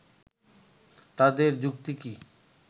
তাদের যুক্তি কি